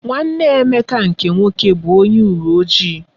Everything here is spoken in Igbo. Nwanne Emeka nke nwoke bụ onye uwe ojii.